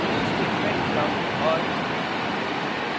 उदाहरण do statement block और